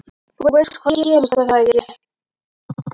Þú veist hvað gerðist, er það ekki?